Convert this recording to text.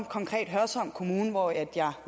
konkret hørsholm kommune hvor jeg